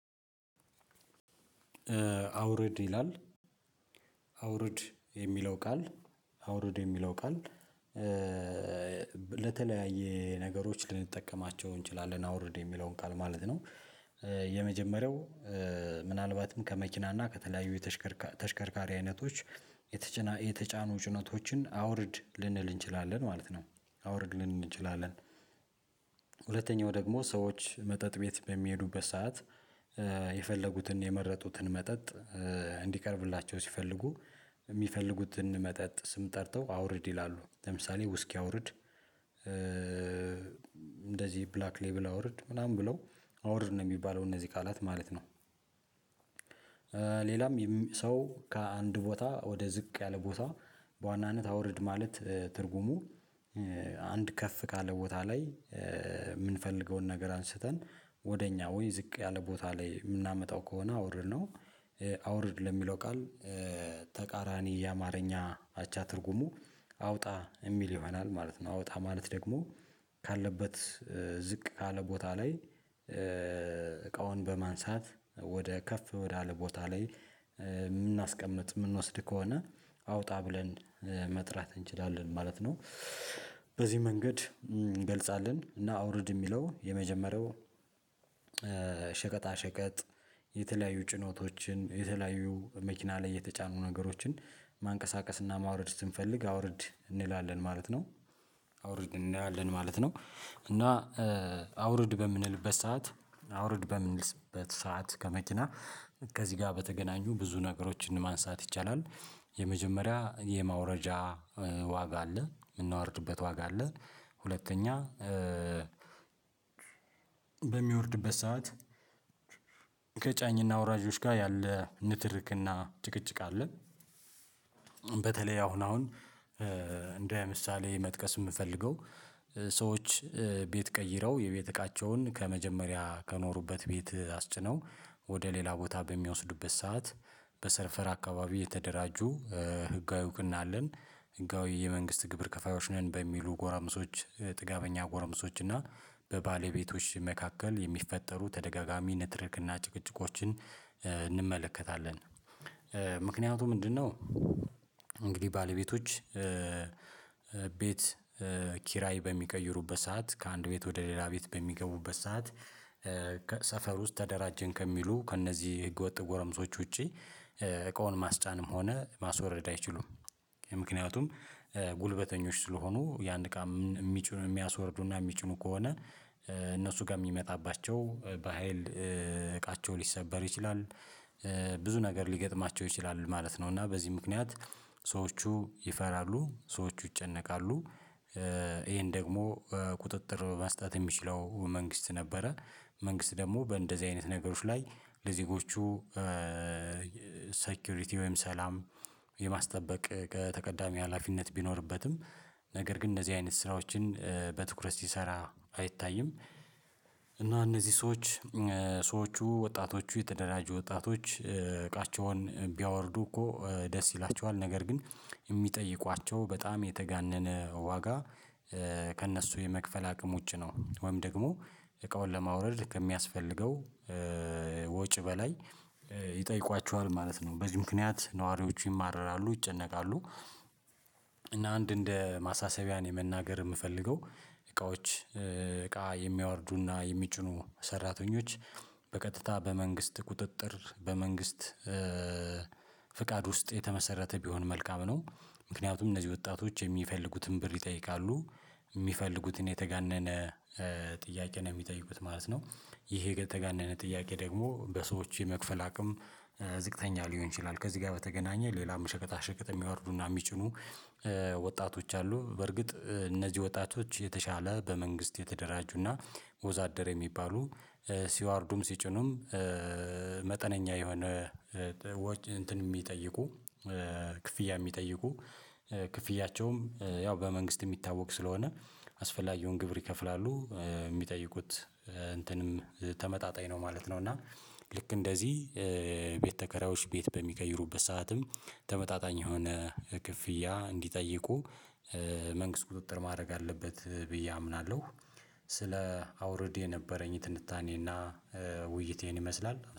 አውረድ ይላል አውረድ የሚለው ቃል አውረድ የሚለው ቃል ለተለያዩ ነገሮች ልንጠቀማቸው እንችላለን አውርድ የሚለውን ቃል ማለት ነው። የመጀመሪያው ምናልባትም ከመኪና እና ከተለያዩ የተሽከርካሪ አይነቶች የተጫኑ ጭነቶችን አውርድ ልንል እንችላለን ማለት ነው። አውርድ ልንል እንችላለን። ሁለተኛው ደግሞ ሰዎች መጠጥ ቤት በሚሄዱበት ሰዓት የፈለጉትን የመረጡትን መጠጥ እንዲቀርብላቸው ሲፈልጉ የሚፈልጉትን መጠጥ ስም ጠርተው አውርድ ይላሉ ለምሳሌ ውስኪ አውርድ እንደዚህ ብላክ ሌቭል አውርድ ምናምን ብለው አወርድ ነው የሚባለው እነዚህ ቃላት ማለት ነው። ሌላም ሰው ከአንድ ቦታ ወደ ዝቅ ያለ ቦታ በዋናነት አውርድ ማለት ትርጉሙ አንድ ከፍ ካለ ቦታ ላይ የምንፈልገውን ነገር አንስተን ወደ እኛ ወይ ዝቅ ያለ ቦታ ላይ የምናመጣው ከሆነ አውርድ ነው። አውርድ ለሚለው ቃል ተቃራኒ የአማርኛ አቻ ትርጉሙ አውጣ የሚል ይሆናል ማለት ነው። አውጣ ማለት ደግሞ ካለበት ዝቅ ካለ ቦታ ላይ እቃውን በማንሳት ወደ ከፍ ወደ አለ ቦታ ላይ የምናስቀምጥ የምንወስድ ከሆነ አውጣ ብለን መጥራት እንችላለን ማለት ነው። በዚህ መንገድ እንገልጻለን እና አውርድ የሚለው የመጀመሪያው ሸቀጣ ሸቀጥ የተለያዩ ጭኖቶችን የተለያዩ መኪና ላይ የተጫኑ ነገሮችን ማንቀሳቀስና ማውረድ ስንፈልግ አውርድ እንላለን ማለት ነው። አውርድ እንላለን ማለት ነው እና አውርድ በምንልበት ሰዓት አውርድ በምንልበት ሰዓት ከመኪና ከዚህ ጋር በተገናኙ ብዙ ነገሮችን ማንሳት ይቻላል የመጀመሪያ የማውረጃ ዋጋ አለ የምናወርድበት ዋጋ አለ። ሁለተኛ በሚወርድበት ሰዓት ከጫኝና አውራጆች ጋር ያለ ንትርክና ጭቅጭቅ አለ። በተለይ አሁን አሁን እንደ ምሳሌ መጥቀስ የምፈልገው ሰዎች ቤት ቀይረው የቤተካቸውን ከመጀመሪያ ከኖሩበት ቤት አስጭነው ወደ ሌላ ቦታ በሚወስዱበት ሰዓት በሰፈር አካባቢ የተደራጁ ህጋዊ ውቅን አለን ህጋዊ የመንግስት ግብር ከፋዮች ነን በሚሉ ጎረምሶች ጥጋበኛ ጎረምሶች እና በባለቤቶች መካከል የሚፈጠሩ ተደጋጋሚ ንትርክ እና ጭቅጭቆችን እንመለከታለን። ምክንያቱም ምንድነው? እንግዲህ ባለቤቶች ቤት ኪራይ በሚቀይሩበት ሰዓት ከአንድ ቤት ወደ ሌላ ቤት በሚገቡበት ሰዓት ከሰፈር ውስጥ ተደራጀን ከሚሉ ከእነዚህ ህገወጥ ጎረምሶች ውጪ እቃውን ማስጫንም ሆነ ማስወረድ አይችሉም። ምክንያቱም ጉልበተኞች ስለሆኑ ያን እቃ የሚችሉ የሚያስወርዱና የሚጭኑ ከሆነ እነሱ ጋር የሚመጣባቸው በሃይል እቃቸው ሊሰበር ይችላል። ብዙ ነገር ሊገጥማቸው ይችላል ማለት ነው እና በዚህ ምክንያት ሰዎቹ ይፈራሉ ሰዎቹ ይጨነቃሉ። ይሄን ደግሞ ቁጥጥር መስጠት የሚችለው መንግስት ነበረ። መንግስት ደግሞ በእንደዚህ አይነት ነገሮች ላይ ለዜጎቹ ሴኩሪቲ ወይም ሰላም የማስጠበቅ ከተቀዳሚ ሀላፊነት ቢኖርበትም ነገር ግን እነዚህ አይነት ስራዎችን በትኩረት ሲሰራ አይታይም። እና እነዚህ ሰዎች ሰዎቹ ወጣቶቹ የተደራጁ ወጣቶች እቃቸውን ቢያወርዱ እኮ ደስ ይላቸዋል ነገር ግን የሚጠይቋቸው በጣም የተጋነነ ዋጋ ከእነሱ የመክፈል አቅም ውጪ ነው። ወይም ደግሞ እቃውን ለማውረድ ከሚያስፈልገው ወጪ በላይ ይጠይቋቸዋል ማለት ነው። በዚህ ምክንያት ነዋሪዎቹ ይማረራሉ ይጨነቃሉ። እና አንድ እንደ ማሳሰቢያን የመናገር የምፈልገው እቃዎች እቃ የሚያወርዱና የሚጭኑ ሰራተኞች በቀጥታ በመንግስት ቁጥጥር በመንግስት ፍቃድ ውስጥ የተመሰረተ ቢሆን መልካም ነው። ምክንያቱም እነዚህ ወጣቶች የሚፈልጉትን ብር ይጠይቃሉ የሚፈልጉትን የተጋነነ ጥያቄ ነው የሚጠይቁት ማለት ነው። ይሄ የተጋነነ ጥያቄ ደግሞ በሰዎች የመክፈል አቅም ዝቅተኛ ሊሆን ይችላል። ከዚህ ጋር በተገናኘ ሌላም ሸቀጣ ሸቀጥ የሚያወርዱና የሚጭኑ ወጣቶች አሉ። በርግጥ እነዚህ ወጣቶች የተሻለ በመንግስት የተደራጁና ወዛደር የሚባሉ ሲዋርዱም ሲጭኑም መጠነኛ የሆነ ወጭ እንትን የሚጠይቁ ክፍያ የሚጠይቁ ክፍያቸውም ያው በመንግስት የሚታወቅ ስለሆነ አስፈላጊውን ግብር ይከፍላሉ የሚጠይቁት እንትንም ተመጣጣኝ ነው ማለት ነው። እና ልክ እንደዚህ ቤት ተከራዮች ቤት በሚቀይሩበት ሰዓትም ተመጣጣኝ የሆነ ክፍያ እንዲጠይቁ መንግስት ቁጥጥር ማድረግ አለበት ብዬ አምናለሁ። ስለ አውርድ የነበረኝ ትንታኔና ውይይቴን ይህን ይመስላል